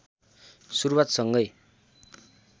सुरुवात सँगै